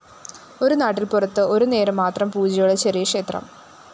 ഒരുനാട്ടിന്‍ പുറത്ത് ഒരുനേരം മാത്രം പൂജയുള്ള ചെറിയക്ഷേത്രം